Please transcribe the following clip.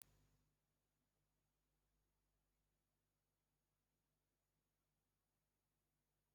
Aga m akwụsị ịṅụ mmanya bigi bigi maka o na-ebu oké shuga.